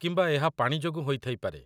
କିମ୍ବା ଏହା ପାଣି ଯୋଗୁଁ ହୋଇଥାଇପାରେ?